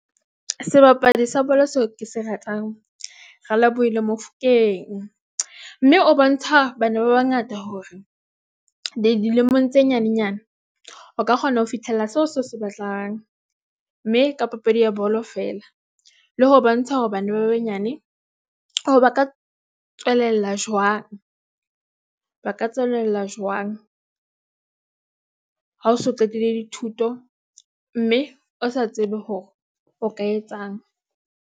Sebapadi sa bolo seo ke se ratang Relebohile Mofokeng, mme o bontsha bana ba bangata hore dilemong tse nyanenyana o ka kgona ho fihlella seo se batlang mme ka papadi ya bolo fela le ho bontsha hore bana ba banyane hore ba ka tswelella jwang, ba ka tswelella jwang. Ha o so qetile dithuto mme o sa tsebe hore o ka etsang.